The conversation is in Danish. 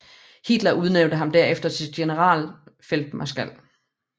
Hitler udnævnte ham herefter til generalfeltmarskal